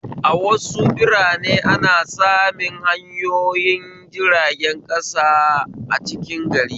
A wasu biranen ana samun hanyoyin jirgin ƙasa a cikin gari